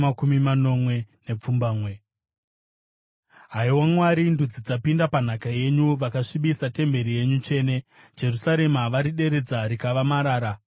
Haiwa Mwari, ndudzi dzapinda panhaka yenyu; vakasvibisa temberi yenyu tsvene, Jerusarema varideredza rikava marara.